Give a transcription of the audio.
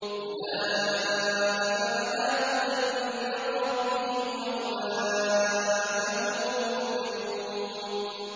أُولَٰئِكَ عَلَىٰ هُدًى مِّن رَّبِّهِمْ ۖ وَأُولَٰئِكَ هُمُ الْمُفْلِحُونَ